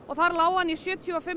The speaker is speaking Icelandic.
þar lá hann í sjötíu og fimm